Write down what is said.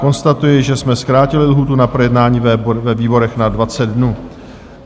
Konstatuji, že jsme zkrátili lhůtu na projednání ve výborech na 20 dnů.